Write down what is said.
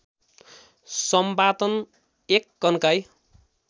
सम्पादन १ कन्काई